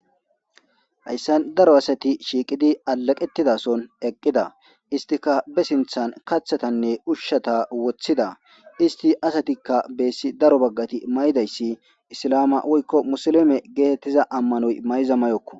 Hayissan darro assati shiqqid utidda he assati bee sinithani kathatanne ushata wothidda he assatape daroti mayiddas isilama woyiko musilime getetiza amanoyi mayiza mayoko